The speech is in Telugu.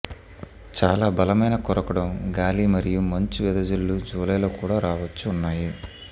చాలా బలమైన కొరకడం గాలి మరియు మంచు వెదజల్లు జూలై లో కూడా రావొచ్చు ఉన్నాయి